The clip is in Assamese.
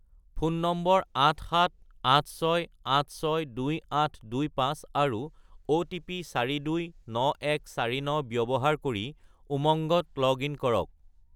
ফোন নম্বৰ 87086862825 আৰু অ'টিপি 429149 ব্যৱহাৰ কৰি উমংগত লগ-ইন কৰক।